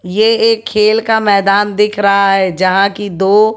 ये एक खेल का मैदान दिख रहा है जहाँ की दो--